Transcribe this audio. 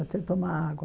Até tomar água.